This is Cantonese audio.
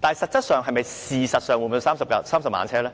但實質上、事實上是否真的有30萬輛汽車呢？